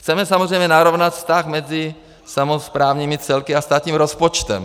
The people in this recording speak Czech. Chceme samozřejmě narovnat vztah mezi samosprávními celky a státním rozpočtem.